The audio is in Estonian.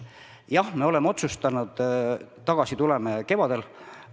Jah, me oleme otsustanud, tagasi tuleme kevadel.